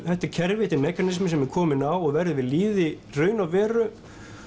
þetta er kerfi mekanismi sem er kominn á og verður við lýði í raun og veru